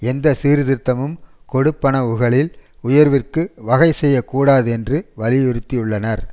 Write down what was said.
எந்த சீர்திருத்தமும் கொடுப்பன உயர்விற்கு வகை செய்ய கூடாது என்று வலியுறுத்தியுள்ளனர்